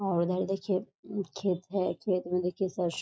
और उधर देखिए खेत है खेत में देखिए सरसों।